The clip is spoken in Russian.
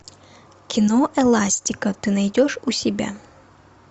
кино эластика ты найдешь у себя